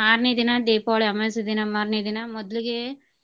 ಮಾರ್ನೆ ದಿನ ದೀಪಾವಳಿ ಅಮವಾಸ್ಯೆ ದಿನ ಮಾರ್ನೆ ದಿನ ಮೊದ್ಲಿಗೆ.